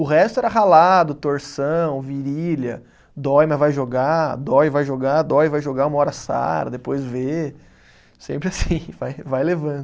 O resto era ralado, torção, virilha, dói, mas vai jogar, dói, vai jogar, dói, vai jogar, uma hora sara, depois vê, sempre assim, vai vai levando.